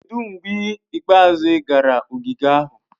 Kedu mgbe ikpeazụ ị gara ogige ahụ?